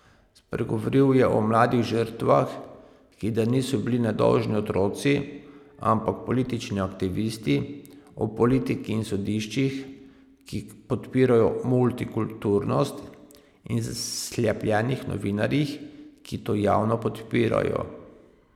Spregovoril je o mladih žrtvah, ki da niso bili nedolžni otroci, ampak politični aktivisti, o politiki in sodiščih, ki podpirajo multikulturnost, in zaslepljenih novinarjih, ki to javno podpirajo.